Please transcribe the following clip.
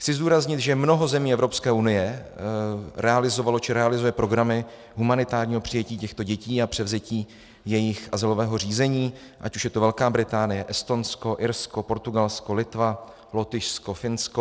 Chci zdůraznit, že mnoho zemí Evropské unie realizovalo či realizuje programy humanitárního přijetí těchto dětí a převzetí jejich azylového řízení, ať už je to Velká Británie, Estonsko, Irsko, Portugalsko, Litva, Lotyšsko, Finsko.